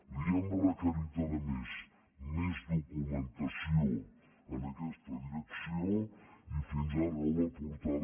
li hem requerit a més més documentació en aquesta direcció i fins ara no l’ha aportada